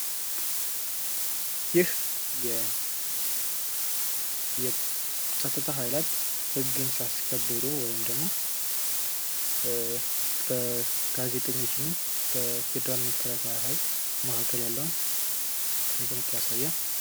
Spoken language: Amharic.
ይህ የጸጥታ ሀይላት ህግን ሲያስከብሩ ወይም ደግሞ በጋዜጠኞች እና በፌደራል መከላከያ ኃይል መካከል ያለውን ትንቅንቅ ያሳያል።